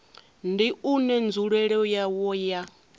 ndi une nzulele yawo ya